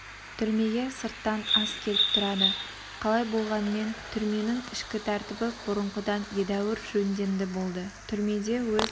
түрмеге сырттан ас келіп тұрады қалай болғанмен түрменің ішкі тәртібі бұрынғыдан едәуір жөндемді болды түрмеде өз